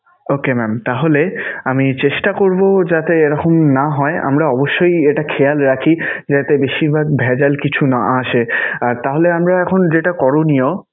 okay mam তাহলে আমি চেষ্টা করবো যাতে এরকম না হয়, আমরা অবশ্যই এটা খেয়াল রাখি যাতে বেশিরভাগ ভেজাল কিছু না আসে. তাহলে আমরা এখন যেটা করনীয়